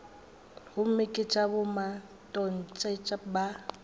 gomme ke tša bomatontshe ba